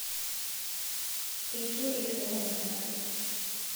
eitu eitoomon olmarei